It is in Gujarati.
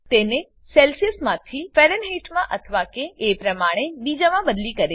તેને સેલ્સીઅસમાંથી ફેરનહેઇટમાં અથવા કે એ પ્રમાણે બીજામાં બદલી કરે છે